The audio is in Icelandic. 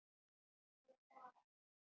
Ég gaf það.